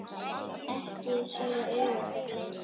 Ekki svo auðvelt að gleyma